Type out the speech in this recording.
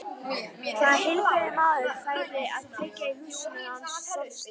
Hvaða heilbrigður maður færi að kveikja í húsinu hans Þorsteins?